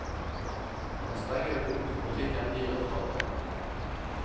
Den strenge økonomiske politikken gir resultater.